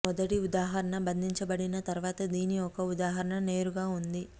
మొదటి ఉదాహరణ బంధించబడిన తర్వాత దీని యొక్క ఉదాహరణ నేరుగా ఉంది